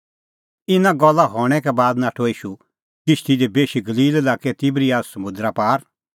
इना गल्ला हणैं का बाद नाठअ ईशू किश्ती दी बेशी गलील लाक्कै तिबरियस समुंदरा पार